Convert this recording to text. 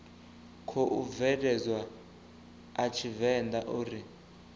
khou bveledzwa a tshivenḓa uri